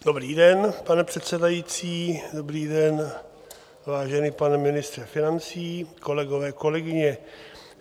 Dobrý den, pane předsedající, dobrý den, vážený pane ministře financí, kolegové, kolegyně.